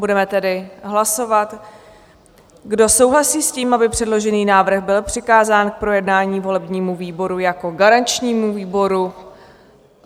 Budeme tedy hlasovat, kdo souhlasí s tím, aby předložený návrh byl přikázán k projednání volebnímu výboru jako garančnímu výboru.